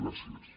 gràcies